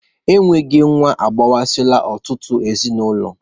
E nweghi nwa agbasala ọtụtụ ezinaụlọ.